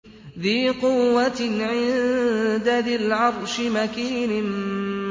ذِي قُوَّةٍ عِندَ ذِي الْعَرْشِ مَكِينٍ